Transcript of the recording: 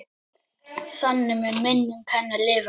Þannig mun minning hennar lifa.